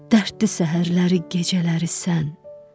Dərddi səhərləri gecələri sən.